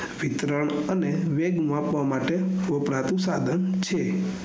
વિતરણ અને વેદ માપવા માટે વપરાતું સાઘન છે